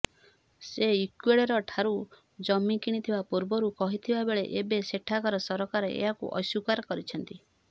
ସେ ଇକ୍ୱେଡରଠାରୁ ଜମି କିଣିଥିବା ପୂର୍ବରୁ କହିଥିବାବେଳେ ଏବେ ସେଠାକାର ସରକାର ଏହାକୁ ଅସ୍ୱୀକାର କରିଛନ୍ତି